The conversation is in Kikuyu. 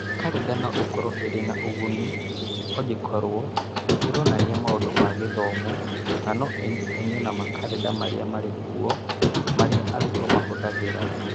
Karenda no ĩkorũo ĩrĩ na ũguni ĩngĩkorũo nĩ ironania maũndũ ma gĩthomo na no ĩnyitithanio na makarenda marĩa marĩ kuo marĩa arutwo mahũthagĩra,